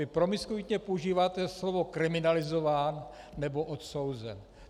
Vy promiskuitně používáte slovo kriminalizován nebo odsouzen.